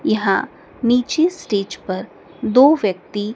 यहां नीचे स्टेज पर दो व्यक्ति--